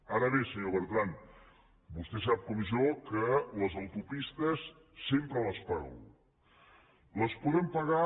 ara bé senyor bertran vostè sap com jo que les autopistes sempre les paga algú